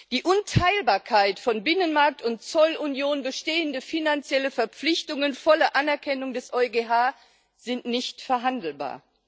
Die Unteilbarkeit von Binnenmarkt und Zollunion, bestehende finanzielle Verpflichtungen, volle Anerkennung des EuGH sind nicht verhandelbar.